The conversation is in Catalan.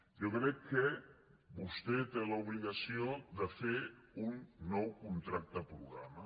jo crec que vostè té l’obligació de fer un nou contracte programa